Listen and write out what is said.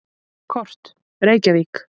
Kort: Reykjavík.